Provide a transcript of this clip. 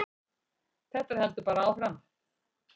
Þetta heldur bara áfram.